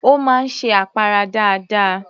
Ó máa ń ṣe àpárá dáadáa